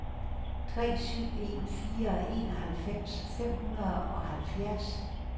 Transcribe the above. tre syv en fire enoghalvfems fem hundrede og halvfjerds